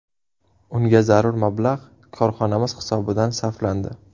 Unga zarur mablag‘ korxonamiz hisobidan sarflandi.